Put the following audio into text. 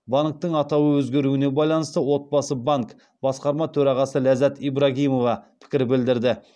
банктің атауы өзгеруіне байланысты отбасы банк басқарма төрағасы ляззат ибрагимова пікір білдірді